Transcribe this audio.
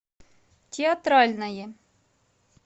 театральное